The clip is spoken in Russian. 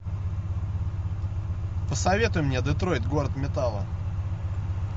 посоветуй мне детройт город металла